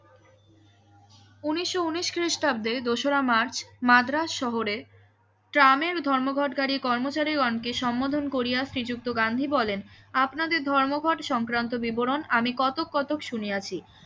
ঊনিশো ঊনিশ খ্রিষ্টাব্দের দোসরা মার্চ মাড্রাস্ শহরে ট্রামের ধর্মঘটকারী কর্মচারী গণ কে সম্বোধন করিয়া শ্রীযুক্ত গান্ধী বলেন আপনাদের ধর্মঘট সংক্রান্ত বিবরণ আমি কতক কতক শুনিয়াছি